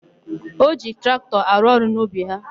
O ji traktọ arụ ọrụ n'ubi ha?